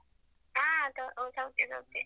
ಹಾ, ಸೌಖ್ಯ ಸೌಖ್ಯ.